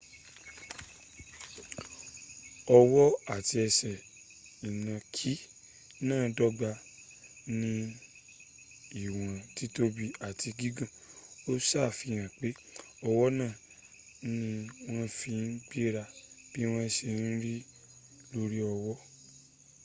ọwọ́ àti ẹsẹ̀ ìnànkí náà dọ́gba ní íwọ́n tìtòbi áti gígùn o sàfihàn pe ọwọ́ náà ni wón fi n gbéra bí wọ́n se rìn lórí ọwọ́́